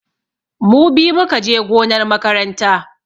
Mu biyu mu ka je gonar makaranta.